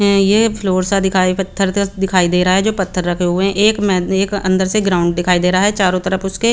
ये फ्लोर सा दिखाई पत्थर का दिखाई दे रहा है पत्थर रखे हुए एक मेद एक अंदर से ग्राउंड दिखाई देरा है चारो तरफ उसके।